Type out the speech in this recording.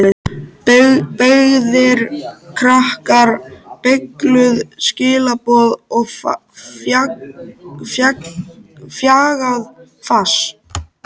Beygðir krakkar, beygluð skilaboð og bjagað fas.